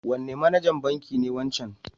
Wane manajan banki ne wancan?